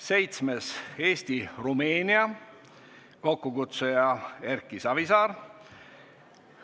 Seitsmendaks, Eesti-Rumeenia, kokkukutsuja on Erki Savisaar.